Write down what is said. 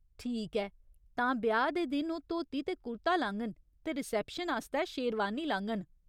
ठीक ऐ, तां ब्याह् दे दिन ओह् धोती ते कुर्ता लाङन ते रिसेप्शन आस्तै शेरवानी लाङन।